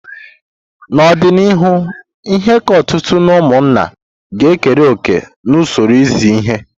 N'ọdịnihu, ihe ka ọtụtụ n'ụmụnna ga ekere òkè n'usoro izi ihe.